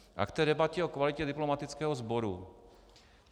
A k té debatě o kvalitě diplomatického sboru.